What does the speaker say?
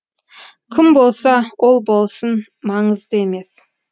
кім болса ол болсын маңызды емес